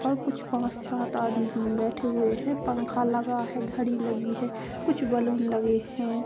पर कुछ पाँच सात आदमी बैठे हुए है पंखा लगा है घडी लगी है कुछ बलून लगे है।